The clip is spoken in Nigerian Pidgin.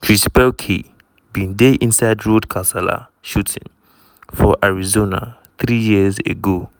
chris pelkey bin die inside road kasala shooting for arizona three years ago.